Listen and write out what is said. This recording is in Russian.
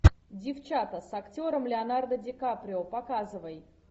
девчата с актером леонардо ди каприо показывай